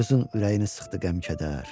Qızın ürəyini sıxdı qəm-kədər.